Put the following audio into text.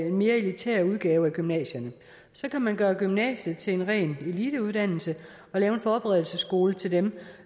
en mere elitær udgave af gymnasierne så kan man gøre gymnasiet til en ren eliteuddannelse og lave en forberedelsesskole til dem